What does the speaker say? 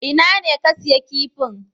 Ina ne ka siya kifin?